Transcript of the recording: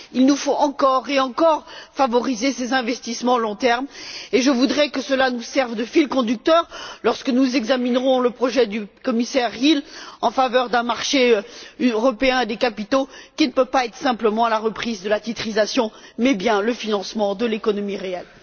Il nous faut encore et encore favoriser ces investissements à long terme, et je voudrais que cela nous serve de fil conducteur lorsque nous examinerons le projet du commissaire Hill en faveur d'un marché européen des capitaux, qui ne doit pas consister simplement dans la reprise de la titrisation mais bien dans le financement de l'économie réelle.